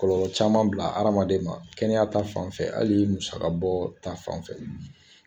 Kɔlɔlɔ caman bila hadamaden ma kɛnɛya ta fan fɛ hali musaka bɔ ta fan fɛ